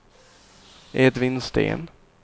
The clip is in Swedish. Edvin Sten